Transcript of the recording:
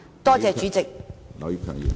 多謝主席。